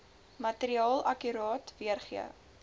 materiaal akkuraat weergee